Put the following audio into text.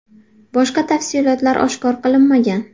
Boshqa tafsilotlar oshkor qilinmagan.